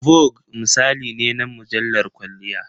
"Vogue" misali ne na mujallar kwalliya.